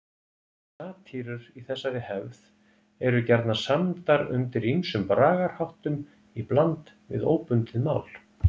Satírur í þessari hefð eru gjarnan samdar undir ýmsum bragarháttum í bland við óbundið mál.